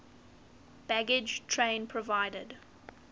baggage train provided